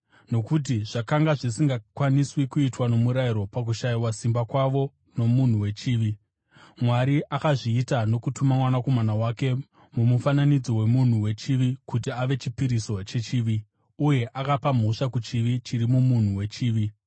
Nokuti zvakanga zvisingakwaniswi kuitwa nomurayiro pakushayiswa simba kwawo nomunhu wechivi, Mwari akazviita nokutuma Mwanakomana wake mumufananidzo wemunhu wechivi kuti ave chipiriso chechivi. Uye akapa mhosva kuchivi chiri mumunhu wechivi,